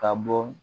Ka bɔ